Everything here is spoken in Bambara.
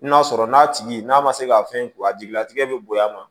N'a sɔrɔ n'a tigi n'a ma se ka fɛn k'u a jigila tigɛ bɛ bonya a ma